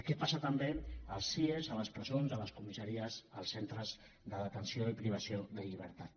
què passa també als cie a les presons a les comissa ries als centres de detenció i privació de llibertat